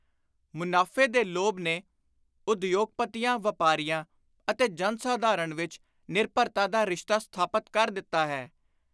ਮੁਨਾਫੇ ਦੇ ਲੋਭ ਨੇ ਉਦਯੋਗਪਤੀਆਂ, ਵਾਪਾਰੀਆਂ ਅਤੇ ਜਨ-ਸਾਧਾਰਣ ਵਿਚ ਨਿਰਭਰਤਾ ਦਾ ਰਿਸ਼ਤਾ ਸਥਾਪਤ ਕਰ ਦਿੱਤਾ ਹੈ।